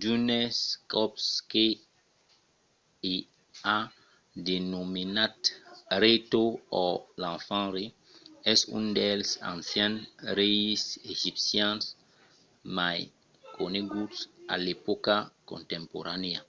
d’unes còps que i a denomenat rei tot or l'enfant rei es un dels ancians reis egipcians mai coneguts a l’epòca contemporanèa